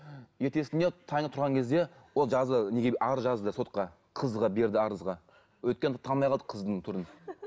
ертесіне таңертең тұрған кезде ол жазды неге арыз жазды сотқа қызға берді арызға өйткені танымай қалды қыздың түрін